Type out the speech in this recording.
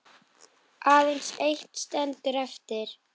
Aðeins eitt stendur eftir.